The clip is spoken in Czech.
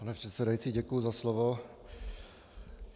Pane předsedající, děkuji za slovo.